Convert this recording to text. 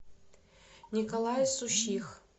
николай сущих